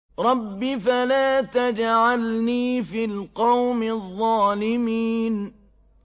رَبِّ فَلَا تَجْعَلْنِي فِي الْقَوْمِ الظَّالِمِينَ